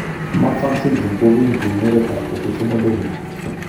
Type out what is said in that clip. Marfan syndrom ko kiinti eng' oretap autosomal dominant.